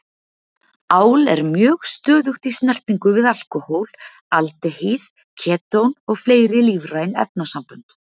Ál er mjög stöðugt í snertingu við alkóhól, aldehýð, ketón og fleiri lífræn efnasambönd.